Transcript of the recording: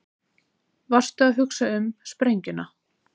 Varstu að hugsa um sprengjuna?